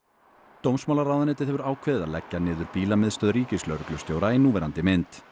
dómsmálaráðuneytið hefur ákveðið að leggja niður ríkislögreglustjóra í núverandi mynd